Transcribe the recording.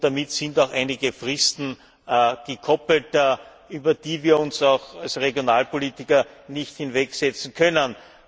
Daran sind auch einige Fristen gekoppelt, über die wir uns auch als Regionalpolitiker nicht hinwegsetzen können.